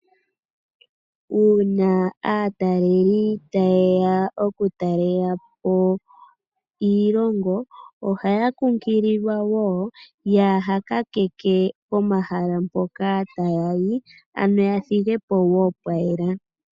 Uuna aataleli tayeya okutalela po iilongo, ohaya kunkililwa wo kaya kakeke pomahala mpoka taya yi ano yathige po pwayela.